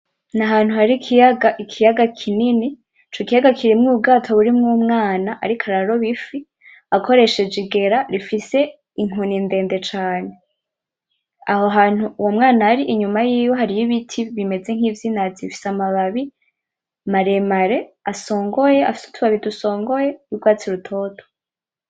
N'ahantu hari ikiyaga, ikiyaga kinini, Ico kiyaga kirimwo ubwato burimw'umwana, ariko araroba ifi ,akoresheje igera ifise inkoni ndende cane. Aho hantu uwo mwana ari inyuma yiwe hariy'ibiti bimeze nk'ivyinazi, bifise amababi maremare asongoye, afise utubabi dusongoye y'urwatsi rutoto.